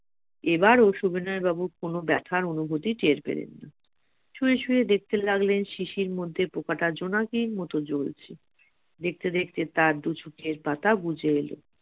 এবারও সুবিনয় বাবু কোন ব্যথার অনুভূতি টের পেলেন না শুয়ে শুয়ে দেখতে লাগলেন শিশির মধ্যে পোকাটা জোনাকির মতো জ্বলছে দেখতে দেখতে তার দু চোখের পাতা বুঝে এলো